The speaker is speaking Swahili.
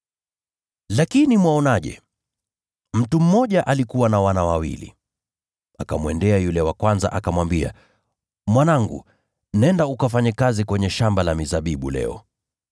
“Lakini mwaonaje? Mtu mmoja alikuwa na wana wawili. Akamwendea yule wa kwanza akamwambia, ‘Mwanangu, nenda ukafanye kazi kwenye shamba la mizabibu leo.’